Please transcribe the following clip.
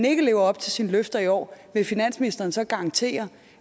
ikke lever op til sine løfter i år vil finansministeren så garantere